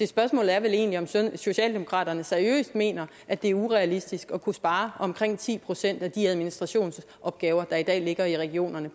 spørgsmålet er vel egentlig om socialdemokratiet seriøst mener at det er urealistisk at kunne spare omkring ti procent af de administrationsopgaver der i dag ligger i regionerne